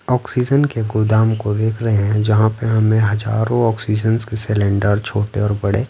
oxygen के गोदाम को देख रहे हैं जहाँ पे हमें हजारों ऑक्सीजन्स के सिलेंडर छोटे और बड़े--